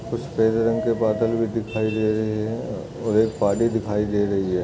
कुछ सफ़ेद रंग बादल भी दिखाई दे रहे हैं। एक पहाड़ी दिखाई दे रही है।